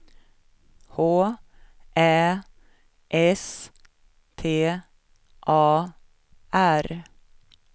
H Ä S T A R